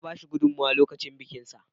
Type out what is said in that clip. Na ba shi gudunmowa lokacin bikinsa.